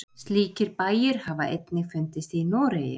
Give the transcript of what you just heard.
Slíkir bæir hafa einnig fundist í Noregi.